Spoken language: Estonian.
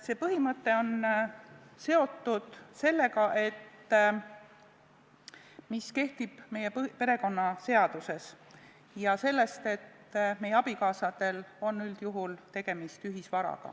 See põhimõte on seotud sellega, mis kehtib meie perekonnaseaduses, ja sellega, et abikaasadel on üldjuhul ühisvara.